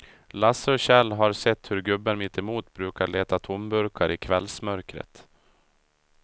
Lasse och Kjell har sett hur gubben mittemot brukar leta tomburkar i kvällsmörkret.